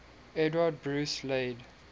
edward bruce laid